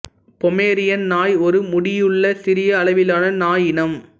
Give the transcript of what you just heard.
Pomeranian நாய் ஒரு முடியுள்ள சிறிய அளவிலான நாய் இனம்